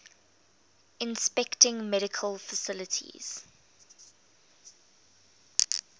inspecting medical facilities